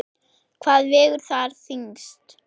Hvað vegur þar þyngst?